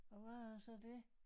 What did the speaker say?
Og hvad er så det